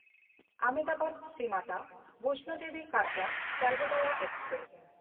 ᱟᱦᱚᱢᱫᱟᱵᱟᱫ–ᱥᱨᱤ Mata ᱵᱮᱭᱥᱱᱚ Devi Katra ᱥᱟᱨᱵᱳᱫᱚᱭᱟ express